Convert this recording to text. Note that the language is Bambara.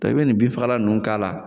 i bi nin bin fagala ninnu k'a la